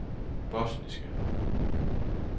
bosniske